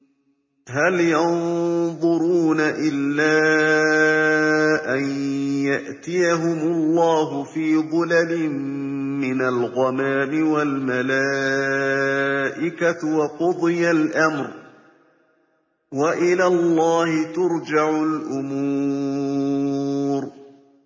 هَلْ يَنظُرُونَ إِلَّا أَن يَأْتِيَهُمُ اللَّهُ فِي ظُلَلٍ مِّنَ الْغَمَامِ وَالْمَلَائِكَةُ وَقُضِيَ الْأَمْرُ ۚ وَإِلَى اللَّهِ تُرْجَعُ الْأُمُورُ